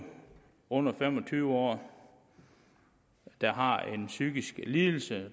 under fem og tyve år der har en psykisk lidelse